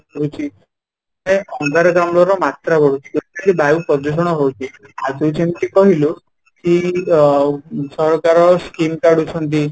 ବଢୁଛି ଅଙ୍ଗାରକାମ୍ଳ ର ମାତ୍ରା ବଢୁଛି totally ବାୟୁ ପ୍ରଦୂଷଣ ହଉଛି ଆଉ ତୁ ଯେମିତି କହିଲୁ କି ଅ ସରକାର Scheme କାଢୁଛନ୍ତି